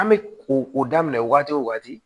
An bɛ ko o daminɛ wagati o wagati